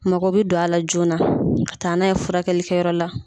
Mɔgɔ bɛ don a la joona ka taa n'a ye furakɛli kɛyɔrɔ la.